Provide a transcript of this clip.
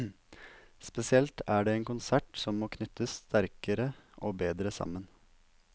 Spesielt er det en konsert som må knyttes sterkere og bedre sammen.